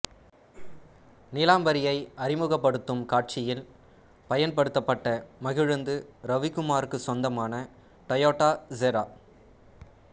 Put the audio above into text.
நீலாம்பரியை அறிமுகப்படுத்தும் காட்சியில் பயன்படுத்தப்பட்ட மகிழுந்து ரவிகுமாருக்கு சொந்தமான டொயோட்டா செரா